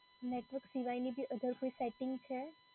Network સિવાયની બી other કોઈ સેટિંગ છે?